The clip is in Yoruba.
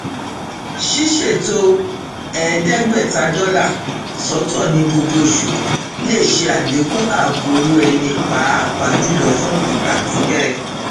ṣíṣètò ẹẹdégbèta dólà sọtọ ní gbogbo oṣù lè ṣe àlẹkùn ààbò owó ẹni pàápàá jùlọ fún ìgbà pípẹ